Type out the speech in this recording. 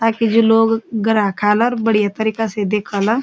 ताकि जो लोग ग्राहक आला बढ़िया तरीका से दिख्याला।